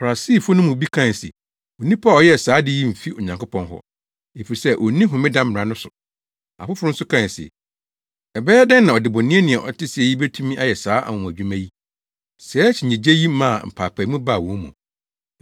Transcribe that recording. Farisifo no mu bi kae se, “Onipa a ɔyɛɛ saa ade yi mfi Onyankopɔn hɔ, efisɛ onni homeda mmara no so.” Afoforo nso kae se, “Ɛbɛyɛ dɛn na ɔdebɔneyɛni a ɔte sɛɛ yi betumi ayɛ saa anwonwadwuma yi?” Saa akyinnye yi maa mpaapaemu baa wɔn mu.